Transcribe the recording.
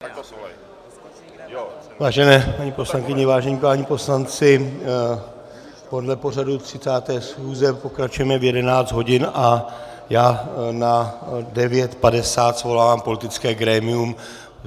Vážené paní poslankyně, vážení páni poslanci, podle pořadu 30. schůze pokračujeme v 11 hodin a já na 9.50 svolávám politické grémium.